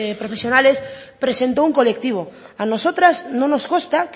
profesionales presentó un colectivo a nosotras no nos consta